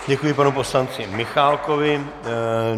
Děkuji panu poslanci Michálkovi.